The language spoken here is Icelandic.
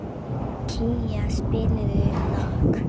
Kía, spilaðu lag.